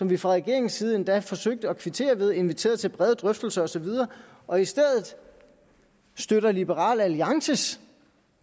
vi fra regeringens side endda forsøgte at kvittere for ved at invitere til brede drøftelser og så videre og i stedet støtte liberal alliances